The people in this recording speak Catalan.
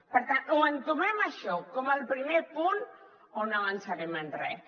per tant o entomem això com el primer punt o no avançarem en res